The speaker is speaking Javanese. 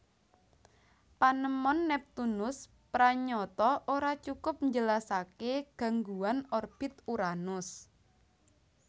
Panemon Neptunus pranyata ora cukup njelasaké gangguan orbit Uranus